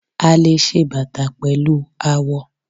A le ṣe bàtà pẹ̀lú awọ.